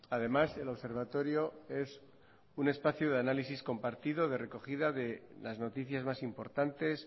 además el observatorio es un espacio de análisis compartido de recogida de las noticias más importantes